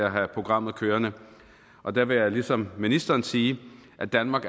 at have programmet kørende der vil jeg ligesom ministeren sige at danmark